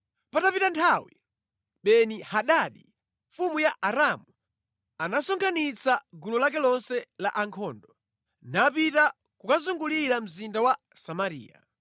Patapita nthawi, Beni-Hadadi mfumu ya Aramu anasonkhanitsa gulu lake lonse la ankhondo, napita kukazungulira mzinda wa Samariya.